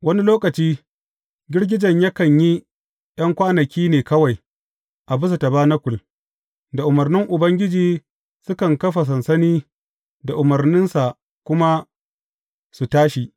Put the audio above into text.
Wani lokaci girgijen yakan yi ’yan kwanaki ne kawai a bisa tabanakul; da umarnin Ubangiji sukan kafa sansani da umarninsa kuma su tashi.